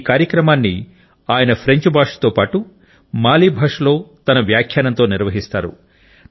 ఈ కార్యక్రమాన్ని ఆయన ఫ్రెంచ్ భాషతో పాటు మాలి భాషలో తన వ్యాఖ్యానంతో నిర్వహిస్తారు